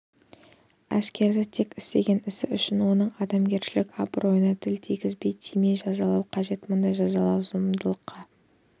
әскерді тек істеген ісі үшін оның адамгершілік абыройына тіл тигізбей тимей жазалау қажет мұндай жазалау зұлымдыққа